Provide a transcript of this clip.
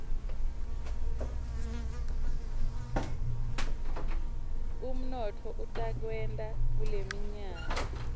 umnotfo utakwehla kuleminyaka